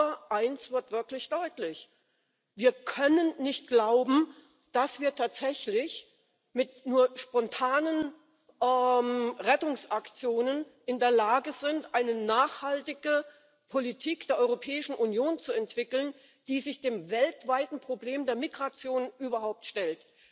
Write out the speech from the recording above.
Aber eines wird wirklich deutlich Wir können nicht glauben, dass wir tatsächlich mit nur spontanen Rettungsaktionen in der Lage sind, eine nachhaltige Politik der Europäischen Union zu entwickeln, die sich dem weltweiten Problem der Migration überhaupt stellt.